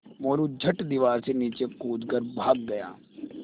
मोरू झट दीवार से नीचे कूद कर भाग गया